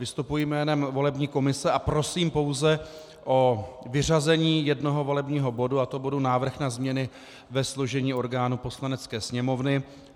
Vystupuji jménem volební komise a prosím pouze o vyřazení jednoho volebního bodu, a to bodu Návrh na změny ve složení orgánů Poslanecké sněmovny.